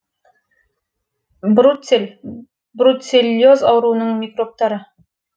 бруцелл бруцеллез ауруының микробтары